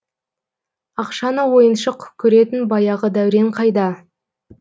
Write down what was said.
ақшаны ойыншық көретін баяғы дәурен қайда